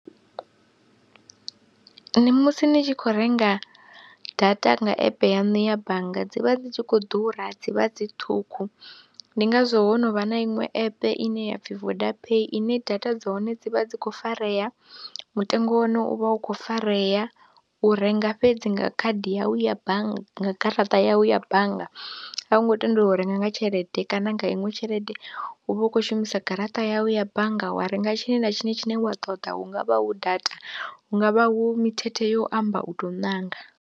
Ndi musi ni tshi khou renga data nga app yaṋu ya bannga dzi vha dzi tshi khou ḓura dzi vha dzi ṱhukhu ndi ngazwo ho no vha na iṅwe app ine ya pfhi VodaPay ine data dza hone dzi vha dzi khou farea, mutengo wa hone u vha u khou farea u renga fhedzi nga khadi yawu ya bannga, garaṱa yau ya bannga, a u ngo tendeliwa u renga nga tshelede kana nga iṅwe tshelede u vha u khou shumisa garaṱa yau ya bannga wa renga tshiṅwe na tshiṅwe tshine wa ṱoḓa, hu nga vha hu data, hu nga vha hu mithethe yo amba u tou ṋanga.